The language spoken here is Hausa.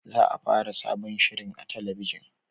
Za a fara sabon shirin a talabijin